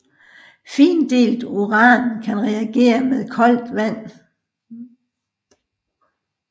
Findelt uran kan reagere med koldt vand